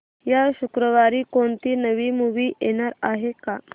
या शुक्रवारी कोणती नवी मूवी येणार आहे का